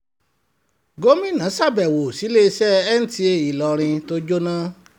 gomina sábẹ́wò síléeṣẹ́ nta ìlọrin tó jóná